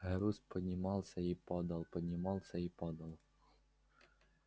груз поднимался и падал поднимался и падал